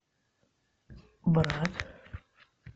брат